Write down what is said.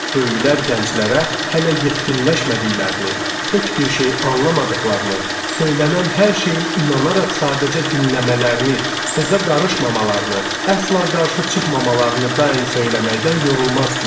Böyüklər gənclərə hələ yetkinləşmədiklərini, heç bir şey anlamadıqlarını, söylənən hər şeyi inanaraq sadəcə dinləmələrini, sözə qarışmamalarını, əsla qarşı çıxmamalarını daim söyləməkdən yorulmazdılar.